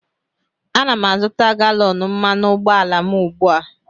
Ana m azụta galọn mmanụ ụgbọala m ugbu a